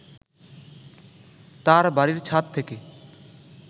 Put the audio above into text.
তাঁর বাড়ীর ছাদ থেকে